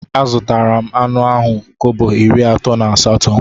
Azutara m anụ ahụ kobo iri atọ na asatọ.